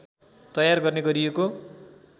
तयार गर्ने गरिएको